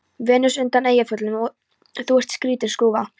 Venus undan Eyjafjöllum: Þú ert skrýtin skrúfa.